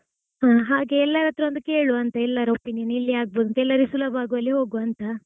ಹಾ ಹಾಗೆ ಎಲ್ಲಾರ್ ಹತ್ರ ಒಂದ್ ಕೇಳುವಾಂತ ಎಲ್ಲಾರ್ opinion ಎಲ್ಲಿ ಆಗಬೋದಂತ ಎಲ್ಲರಿಗ್ ಸುಲಭ ಆಗೋವಲ್ಲಿ ಹೋಗುವಾ ಅಂತ.